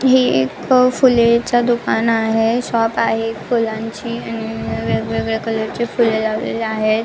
ही एक फुलेच दुकान आहे शॉप आहे एक फुलांची आणि वेगवेगळ्या कलर ची फुले लावलेली आहेत.